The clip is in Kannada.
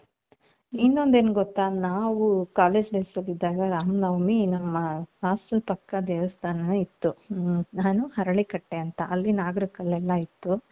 ಇನ್ನೊಂದ್ ಏನ್ ಗೊತ್ತ ನಾವು college life ಅಲ್ಲಿ ಇದ್ದಾಗ ರಾಮನವಮಿ ನಮ್ಮ hostel ಪಕ್ಕ ದೇವಸ್ಥಾನನೂ ಇತ್ತು ಹರಳಿಕಟ್ಟೆ ಅಂತ ಅಲ್ಲಿ ನಾಗರ ಕಲ್ಲೆಲ್ಲಾ ಇತ್ತು .